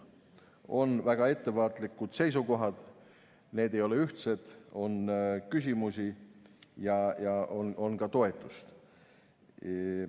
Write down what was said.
On väga ettevaatlikud seisukohad, need ei ole ühtsed, on küsimusi ja on ka toetust.